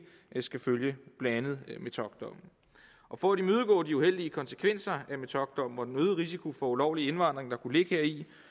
skal følge blandt andet metockdommen for at imødegå de uheldige konsekvenser af metockdommen og den øgede risiko for ulovlig indvandring der kunne ligge